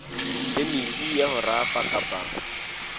phemiti ya ho rafa kapa